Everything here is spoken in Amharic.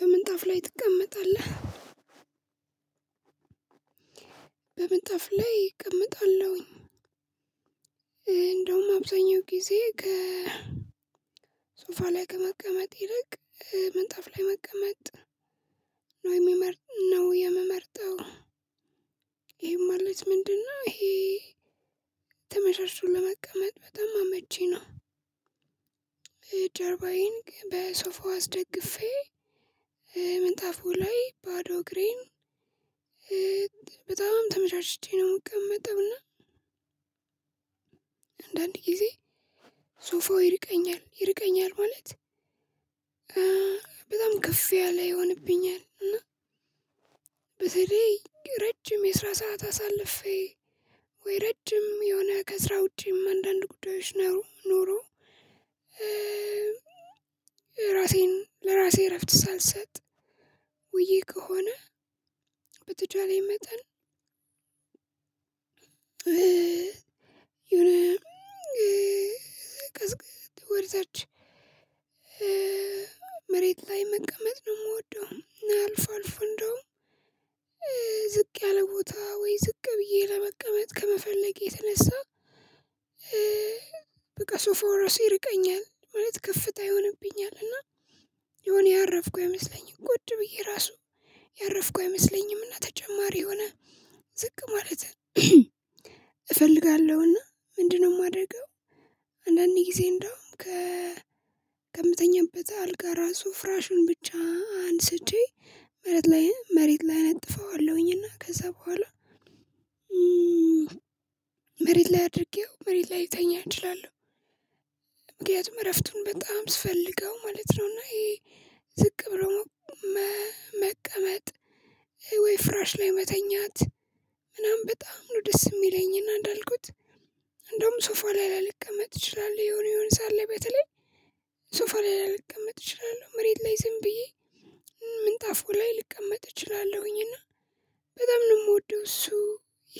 በምንጣፍ ላይ ትቀመጣለህ? በምንጣፍ ላይ እቀመጣለሁኝ እንደውም አብዛኛው ጊዜ ከሶፋ ላይ ከመቀመጥ ይልቅ ምንጣፍ ላይ መቀመጥ ነው የምመርጥ ነው የምመርጠው። ይሄም ማለት ምንድነው? ይሄ ተ ለመቀመጥ በጣም አመቺ ነው። ጀርባዬን በሶፋው አስደግፌ ምንጣፉ ላይ ባዶ እግሬን በጣም ተመቻችቼ ነው የምቀመጠው እና። አንዳንድ ጊዜ ሶፋው ይርቀኛል ይርቀኛል ማለት በጣም ከፍ ያለ ይሆንብኛል እና በተለይ ረጅም የስራ ሰዓት አሳልፌ ወይ ረጅም የሆነ ከስራ ውጪም አንዳንድ ጉዳዮች ነሩ ኖሮ። ራሴን ለራሴ እረፍት ሳልሰጥ ውዬ ከሆነ። በተቻለኝ መጠን የሆነ ቀዝቀዝ ወደታች መሬት ላይ መቀመጥ ነው የምወደው። አልፎ አልፎ እንደውም ዝቅ ያለ ቦታ ወይ ዝቅ ብዬ ለመቀመጥ ከመፈለጌ የተነሳ በቃ ሶፋው ራሱ ይርቀኛል ማለት ከፍታ ይሆንብኛል። እና የሆነ ያረፍኩት አይመስለኝም ቁጭ ብዬ ራሱ ያረፍኩት አይመስለኝምና ተጨማሪ የሆነ ዝቅ ማለት እፈልጋለሁና ምንድነው የማደርገው? አንዳንዴ ጊዜ እንደውም ከምተኛበት አልጋ ራሱ ፍራሹን ብቻ አንስቼ መረት ላይ መሬት ላይ አነጥፈዋለሁኝ እና ከዛ በኋላ መሬት ላይ አድርጌው መሬት ላይ ልተኛ እችላለሁ። ምክንያቱም እረፍቱን በጣም ስፈልገው ማለት ነው። እና ይሄ ዝቅ ብሎ መቀመጥ ወይ ፍራሽ ላይ መተኛት በጣም ነው ደስ የሚለኝንና እንዳልኩት እንደውም ሶፋ ላይ ላልቀመጥ እችላለሁ። የሆነ የሆነ ሰዓት ላይ በተለይ ሶፋ ላልቀመጥ እችላለሁ መሬት ላይ ዝም ብዬ ምንጣፉ ላይ ልቀመጥ እችላለሁኝ እና በጣም ነው የምወደው። እሱ